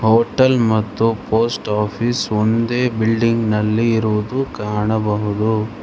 Hotel ಮತ್ತು post office ಒಂದೇ ಬಿಲ್ಡಿಂಗ್ನಲ್ಲಿ ಇರುವುದು ಕಾಣಬಹುದು.